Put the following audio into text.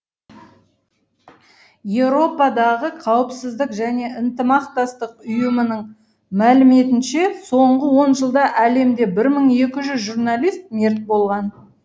еуропадағы қауіпсіздік және ынтымақтастық ұйымының мәліметінше соңғы он жылда әлемде мың екі жүз журналист мерт болған